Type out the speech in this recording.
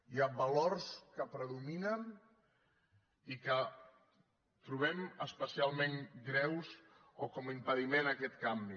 hi ha valors que predominen i que trobem especialment greus o com a impediment a aquest canvi